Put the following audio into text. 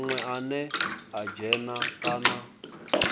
munwe ane a dzhena kana